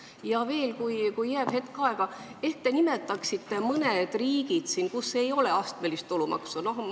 Ja veel, kui jääb hetk aega, ehk te nimetate mõne riigi, kus ei ole astmelist tulumaksu.